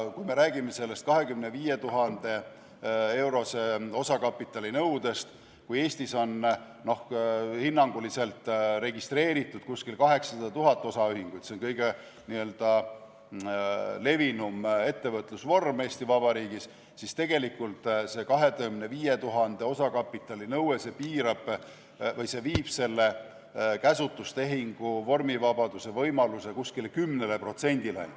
Kui me räägime sellest 25 000 euro suuruse osakapitali nõudest, siis kui Eestis on registreeritud hinnanguliselt 800 000 osaühingut – see on kõige levinum ettevõtlusvorm Eesti Vabariigis –, siis see 25 000 euro suuruse osakapitali nõue viib käsutustehingu vormivabaduse võimaluse umbes 10%-ni.